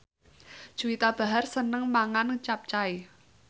Juwita Bahar seneng mangan capcay